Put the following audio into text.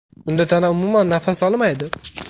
Unda tana umuman nafas olmaydi.